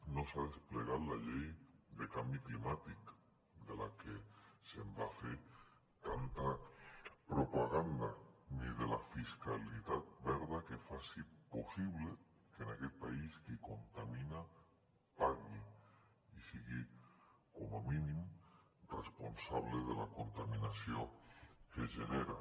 no s’ha desplegat la llei de canvi climàtic de la que es va fer tanta propaganda ni de la fiscalitat verda que faci possible que en aquest país qui contamini pagui i sigui com a mínim responsable de la contaminació que genera